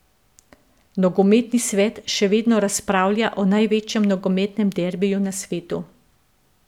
Nogometni svet še vedno razpravlja o največjem nogometnem derbiju na svetu.